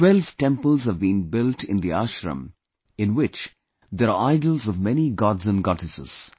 Twelve temples have been built in the ashram, in which there are idols of many Gods and Goddesses